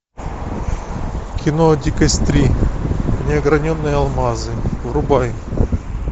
кино дикость три неограненные алмазы врубай